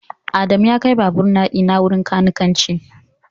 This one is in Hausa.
Adamu ya kai babur dina wurin kanikanci